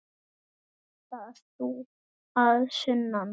Ert þú sá að sunnan?